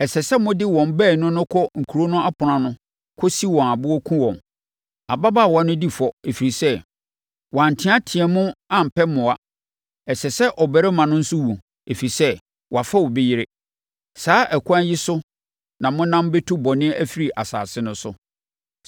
ɛsɛ sɛ mode wɔn baanu no kɔ kuro no apono ano kɔsi wɔn aboɔ kum wɔn. Ababaawa no di fɔ, ɛfiri sɛ, wɔanteateam ampɛ mmoa. Ɛsɛ sɛ ɔbarima no nso wu, ɛfiri sɛ, wafa obi yere. Saa ɛkwan yi so na monam bɛtu bɔne afiri asase no so.